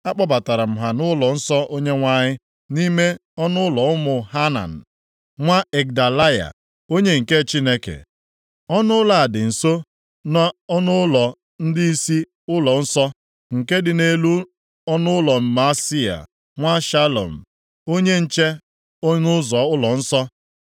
Akpọbatara m ha nʼụlọnsọ Onyenwe anyị, nʼime ọnụụlọ ụmụ Hanan nwa Igdalaya, onye nke Chineke. Ọnụụlọ a dị nso nʼọnụụlọ ndịisi ụlọnsọ, nke dị nʼelu ọnụụlọ Maaseia nwa Shalum, onye nche ọnụ ụzọ ụlọnsọ.